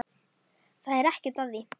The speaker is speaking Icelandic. Það er ekkert að því.